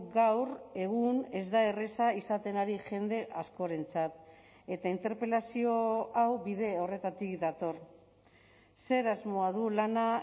gaur egun ez da erraza izaten ari jende askorentzat eta interpelazio hau bide horretatik dator zer asmoa du lana